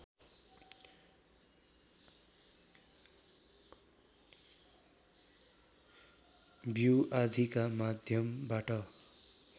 बिउ आदिका माध्यमबाट